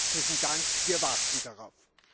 Herzlichen Dank wir warten darauf.